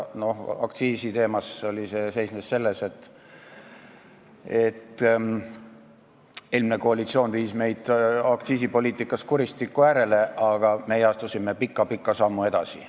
Aktsiisiteema puhul seisnes see väites, et eelmine koalitsioon viis meid aktsiisipoliitikas kuristiku äärele, aga meie astusime pika-pika sammu edasi.